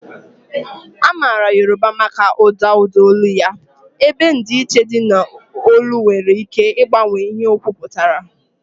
A maara Yoruba maka ụda ụda olu ya, ebe ndịiche dị n'olu nwere ike ịgbanwe ihe okwu pụtara.